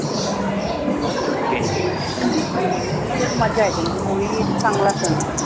हम्म मजा येते म्हणजे होळी एक चांगला सण